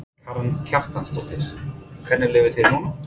Karen Kjartansdóttir: Hvernig líður þér núna?